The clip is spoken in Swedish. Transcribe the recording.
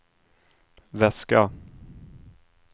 väska